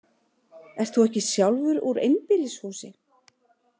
Ert þú ekki sjálfur úr einbýlishúsi?